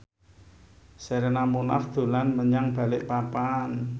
Sherina Munaf dolan menyang Balikpapan